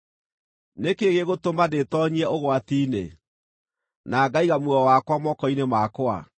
Nĩ kĩĩ gĩgũtũma ndĩtoonyie ũgwati-inĩ na ngaiga muoyo wakwa moko-inĩ makwa?